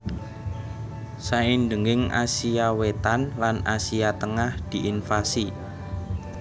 Saindhenging Asia Wétan lan Asia Tengah diinvasi